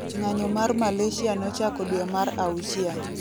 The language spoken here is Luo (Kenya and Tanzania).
ng'anyo mar Malasia nochako due mar auchiel